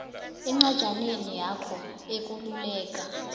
encwajaneni yakho ekululeka